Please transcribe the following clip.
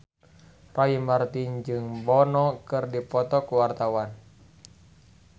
Roy Marten jeung Bono keur dipoto ku wartawan